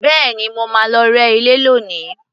Bẹ́ẹ̀ni, mo máa lọ rẹ́ ilé lónìí